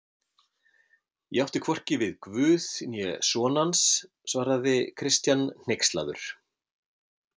Ég átti hvorki við Guð né son hans, svaraði Christian hneykslaður.